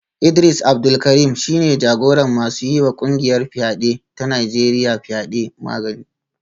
Idris Abdul Karim shi ne jagoran masu yiwa kungiyar fyade ta Najeriya fyade; Magani